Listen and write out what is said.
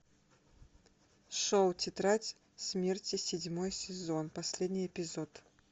шоу тетрадь смерти седьмой сезон последний эпизод